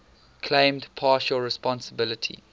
claimed partial responsibility